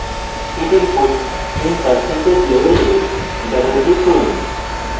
heat input in percentage label double click করুন